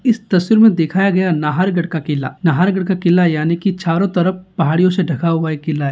इस तस्वीर में दिखाया गया है नाहर गढ़ का किला नाहर गढ़ का किला यानि की चारो तरफ पहाड़ियों से ढका हुआ किला है।